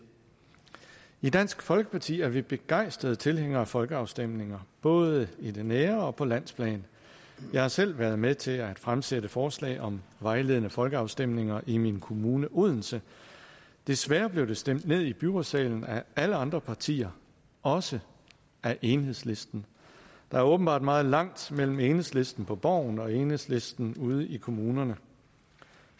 i dansk folkeparti er vi begejstrede tilhængere af folkeafstemninger både i det nære og på landsplan jeg har selv været med til at fremsætte forslag om vejledende folkeafstemninger i min kommune odense desværre blev det stemt ned i byrådssalen af alle andre partier også af enhedslisten der er åbenbart meget langt mellem enhedslisten på borgen og enhedslisten ude i kommunerne